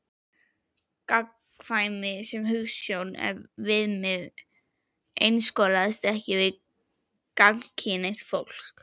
Gagnkvæmni sem hugsjón og viðmið einskorðast ekki við gagnkynhneigt fólk.